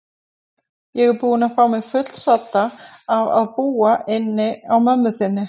Ég er búin að fá mig fullsadda af að búa inni á mömmu þinni.